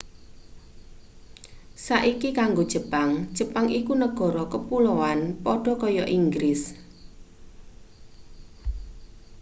saiki kanggo jepang jepang iku negara kapuloan padha kaya inggris